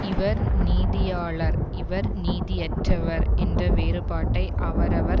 இவர் நீதியாளர் இவர் நீதியற்றவர் என்ற வேறுபாட்டை அவரவர்